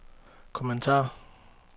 kommentar